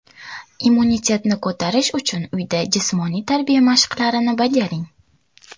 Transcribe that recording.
Immunitetni ko‘tarish uchun uyda jismoniy tarbiya mashqlarini bajaring.